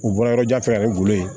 U bɔra yɔrɔ jan fɛnɛ ne bolo yen